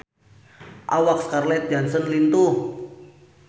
Awak Scarlett Johansson lintuh